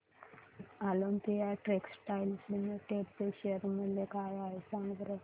Olympia textiles limited चे share मूल्य काय आहे सांगा बरं